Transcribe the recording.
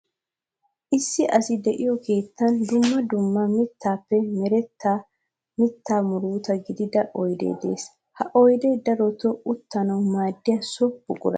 Issi asay de'iyo keettan dumma dumma mittappe meretta mitta murutta gididda oydde de'ees. Ha oydde darotto uttanawu maadiya so buqura.